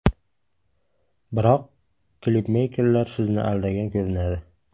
Biroq klipmeykerlar sizni aldagan ko‘rinadi?